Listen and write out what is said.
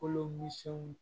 Kolo misɛnninw